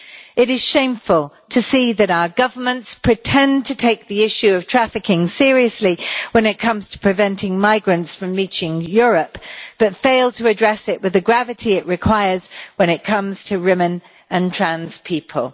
It is shameful to see that our governments pretend to take the issue of trafficking seriously when it comes to preventing migrants from reaching Europe, but fail to address it with the gravity it requires when it comes to women and trans people.